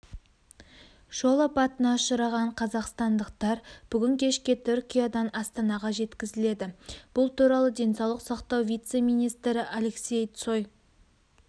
жол апатына ұшыраған қазақстандықтар бүгін кешке түркиядан астанаға жеткізіледі бұл туралы денсаулық сақтау вице-министрі алексей цой